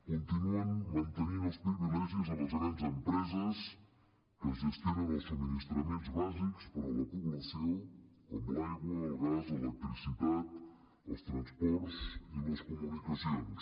continuen mantenint els privilegis a les grans empreses que gestionen els subministraments bàsics per a la població com l’aigua el gas l’electricitat els transports i els comunicacions